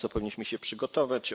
Na co powinniśmy się przygotować?